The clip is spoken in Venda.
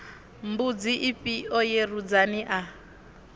mbudzi ifhio ye rudzani a